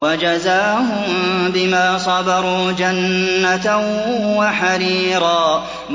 وَجَزَاهُم بِمَا صَبَرُوا جَنَّةً وَحَرِيرًا